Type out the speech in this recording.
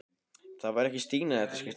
Það var ekki Stína í þetta skipti.